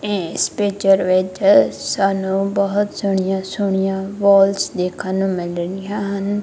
ਇੱਸ ਪਿਕਚਰ ਵਿੱਚ ਸਾਨੂੰ ਬਹੁਤ ਸੋਹਣੀਆਂ ਸੋਹਣੀਆਂ ਵੋਲਸ ਦੇਖਣ ਨੂੰ ਮਿਲ ਰਹੀਆਂ ਹਨ।